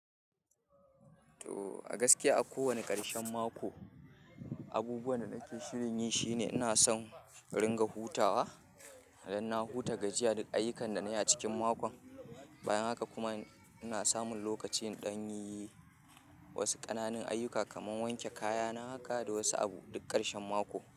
To a gaskiya a ko wanne ƙarshen mako, abubuwan da nake shirin yi shine ina son in ringa hutawa. Dan na huta gajiya duk ayyukan da na yi a cikin mako. Bayan haka kuma ina samun lokaci in dan yin wasu ƙananan ayyuka kamar wanke kayana haka da wasu abu duk ƙarshen mako.